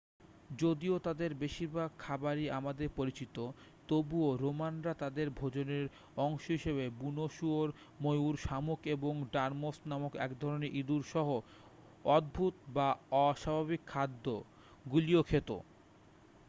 যদিও তাদের বেশিরভাগ খাবারই আমাদের পরিচিত তবুও রোমানরা তাদের ভোজনের অংশ হিসাবে বুনো শুয়োর ময়ূর শামুক এবং ডর্মোস নামক এক ধরণের ইঁদুর সহ অদ্ভুত বা অস্বাভাবিক খাদ্য গুলিও খেত